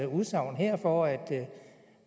udsagn her for at